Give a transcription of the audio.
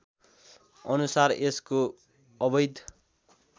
अनुसार यसको अवैध